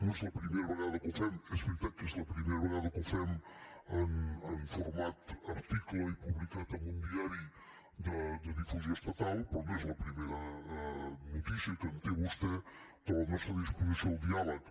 no és la primera vegada que ho fem és veritat que és la primera vegada que ho fem en format article i publicat en un diari de difusió estatal però no és la primera notícia que en té vostè de la nostra disposició al diàleg